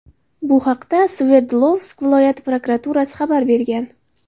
Bu haqda Sverdlovsk viloyati prokuraturasi xabar bergan .